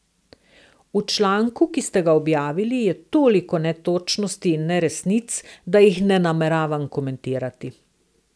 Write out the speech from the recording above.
V članku, ki ste ga objavili je toliko netočnosti in neresnic, da jih ne nameravam komentirati.